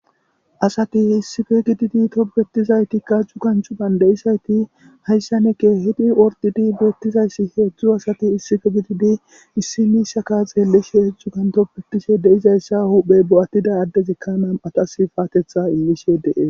Asati issife gididi topbetizaytikka jju kanchu bande'izayti hayssaneke hidi ordidi beettizayssi heedzdzu asati issife gididi issimishaka xeelleshe hedzdzu kantoppetishe deizayssa huphey bo'attida addezekkanam atas faatetha immishe dee.